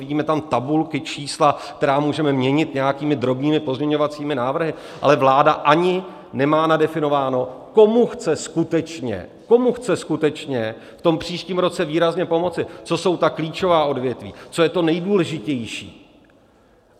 Vidíme tam tabulky, čísla, která můžeme měnit nějakými drobnými pozměňovacími návrhy, ale vláda ani nemá nadefinováno, komu chce skutečně, komu chce skutečně v tom příštím roce výrazně pomoci, co jsou ta klíčová odvětví, co je to nejdůležitější.